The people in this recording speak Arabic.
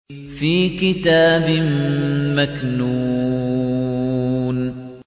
فِي كِتَابٍ مَّكْنُونٍ